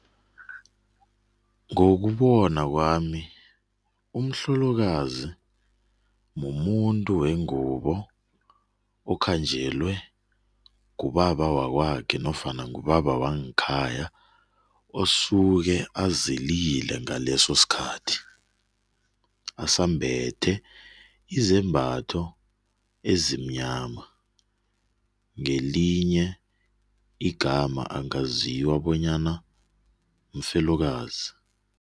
Ngokubona kwami umhlolokazi mumuntu wengubo akhanjwelwe ngubaba wakwakhe nofana ngubaba wangekhaya oseke azilile ngaleso sikhathi, asambethe izembatho ezimnyama. Ngelinye igama angaziwa bona mfelokazi.